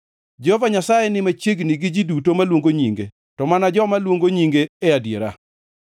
Jehova Nyasaye ni machiegni gi ji duto maluongo nyinge, to mana joma luongo nyinge e adiera.